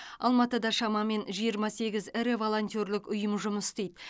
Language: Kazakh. алматыда шамамен жиырма сегіз ірі волонтерлік ұйым жұмыс істейді